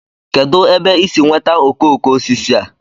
kedụ ebe i si nweta okoko osisi a?